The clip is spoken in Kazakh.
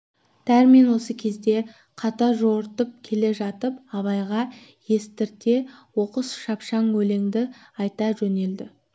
дәрмен осы кезде қатар жортып келе жатып абайға естірте оқыс шапшаң өлеңді айта жөнелді